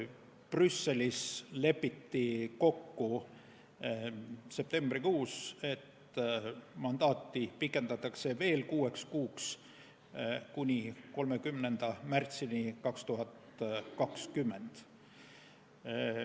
Brüsselis lepiti septembrikuus kokku, et mandaati pikendatakse veel kuueks kuuks, st kuni 30. märtsini 2020.